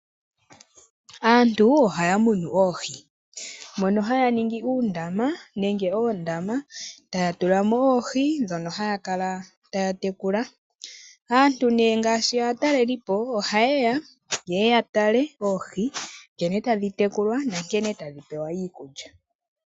Aantu ohaya munu oohi mono haya ningi uundama nenge oondama, taya tula mo oohi ndhono haya kala taya tekula. Aantu nee ngaashi aatalelipo ohayeya yeye yatale oohi, nkene tadhi tekulwa nankene tadhi pewa iikulya.